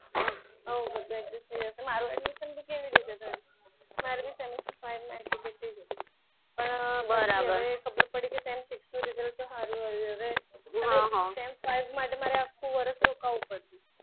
આ બધું adjust થઇ જશે મારું admission કેવી રીતે થયું? મારે semester five માં ATKT જ હતી. પણ ખબર પડી કે sem six નું result sem five માટે આખું વર્ષ રોકાવું પડ્યું.